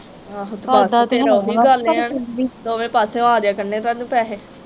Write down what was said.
ਕਰਦਾ ਤੇ ਹੈ ਆ ਪਰ ਫਿਰ ਵੀ ਦੋਵੇ ਪਾਸਿਓਂ ਆ ਜਿਆ ਕਰਨੇ ਤੁਹਾਨੂੰ ਪੈਸੇ।